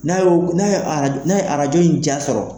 N'a ye arajo in jan sɔrɔ